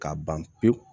K'a ban pewu